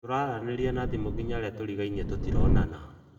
Tũraranĩrĩa na thĩmũ nginya arĩa tũrĩgaĩnĩe tũtĩronana